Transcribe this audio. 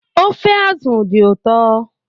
Ofe azụ dị ụtọ